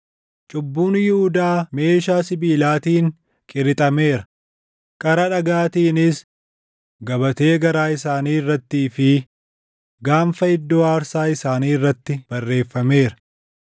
“Cubbuun Yihuudaa meeshaa sibiilaatiin qirixaameera; qara dhagaatiinis gabatee garaa isaanii irrattii fi gaanfa iddoo aarsaa isaanii irratti barreeffameera.